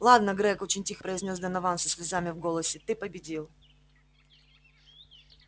ладно грег очень тихо произнёс донован со слезами в голосе ты победил